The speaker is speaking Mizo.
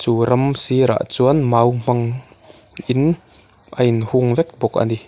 chu ram sirah chuan mau hmang in a in hung vek bawk a ni.